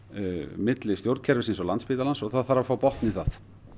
milli stjórnkerfisins og Landspítalans og það þarf að fá botn í það